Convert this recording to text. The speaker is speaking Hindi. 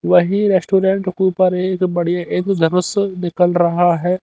वही रेस्टोरेंट उपर एक बडिया एक निकल रहा है।